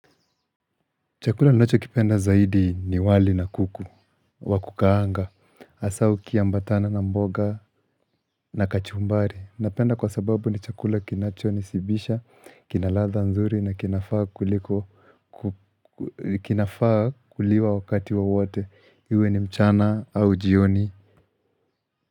Chakula ninacho kipenda zaidi ni wali na kuku, wa kukaanga, hasa ukiambatana na mboga na kachumbari, napenda kwa sababu ni chakula kinacho nishibisha, kinaladha nzuri na kinafaa kuliko kinafaa kuliwa wakati wowote, iwe ni mchana au jioni.